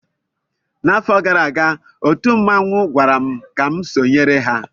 N'afọ gara aga, otu mmanwụ gwara m ka m sonyere ha